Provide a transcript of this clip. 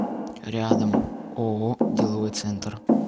рядом ооо деловой центр